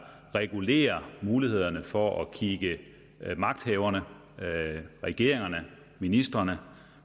regulerer mulighederne for at kigge magthaverne regeringen ministrene